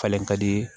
Falen ka di